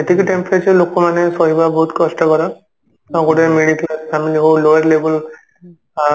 ଏତିକି temperature ଲୋକ ମାନେ ସହିବା ବହୁତ କଷ୍ଟକର ତ ଗୋଟେ ମିଳିଥିବା ସ୍ଥାନରେ ହଉ lower level ଆ